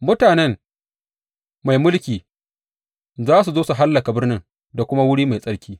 Mutanen mai mulkin za su zo su hallaka birnin da kuma wuri mai tsarki.